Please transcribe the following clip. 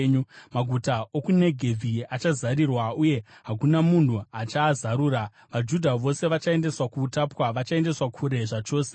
Maguta okuNegevhi achazarirwa, uye hakuna munhu achaazarura. VaJudha vose vachaendeswa kuutapwa, vachaendeswa kure zvachose.